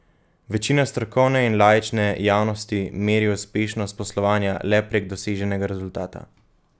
Večina strokovne in laične javnosti meri uspešnost poslovanja le prek doseženega rezultata.